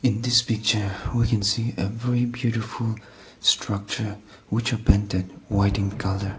this picture we can see a green beautiful structure which are painted white in colour.